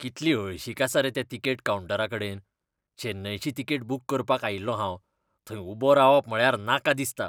कितली हळशीक आसा रे त्या तिकेट कावंटराकडेन. चेन्नयची तिकेट बूक करपाक आयिल्लो हांव. थंय उबो रावप म्हळ्यार नाका दिसता.